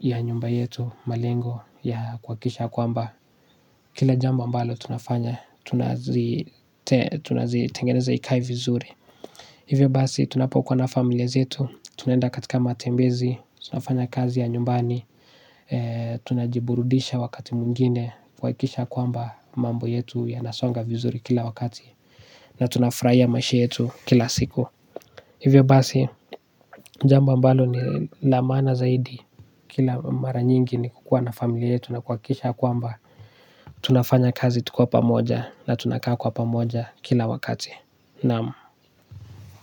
ya nyumba yetu. Malengo ya kuhakikisha kwamba kila jambo ambalo tunafanya, tunazitengeneza ikae vizuri. Hivyo basi tunapokuwa na familia zetu, tunaenda katika matembezi, tunafanya kazi ya nyumbani, tunajiburudisha wakati mwingine kuhakikisha kwamba mambo yetu yanasonga vizuri kila wakati. Na tunafurahiya maisha yetu kila siku. Hivyo basi, jambo ambalo ni la maana zaidi, kila mara nyingi ni kukuwa na familia yetu na kuhakikisha kwamba tunafanya kazi tukiwa pamoja na tunakaa kwa pamoja kila wakati. Naam.